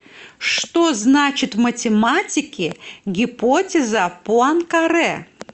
что значит в математике гипотеза пуанкаре